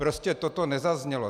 Prostě toto nezaznělo.